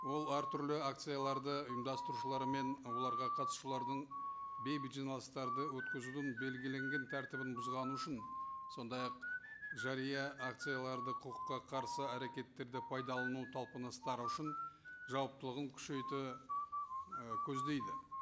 ол әртүрлі акцияларды ұйымдастырушылар мен оларға қатысушылардың бейбіт жиналыстарды өткізудің белгіленген тәртібін бұзғаны үшін сондай ақ жария акцияларды құқыққа қарсы әрекеттерді пайдалану талпыныстары үшін жауаптылығын күшейту і көздейді